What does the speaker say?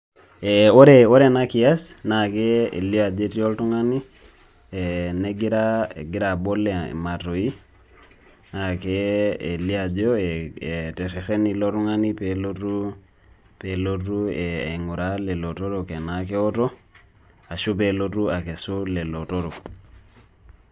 Ore enakias na kelio ajo etii oltung'ani negira egira abol ematoi, na kelio ajo eterrerrene ilo tung'ani pelotu pelotu aing'uraa lelo otorok enaa keoto, ashu pelotu akesu lelo otorok.